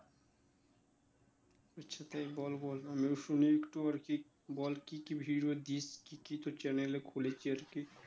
আচ্ছা তাই বল বল আমিও শুনি একটু আর কি বল কি কি video দিস কি কি তোর channel এ খুলেছে আর কি